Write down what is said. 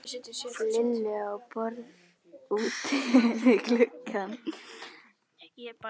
Lillu á borð úti við gluggann.